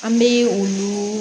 An bɛ olu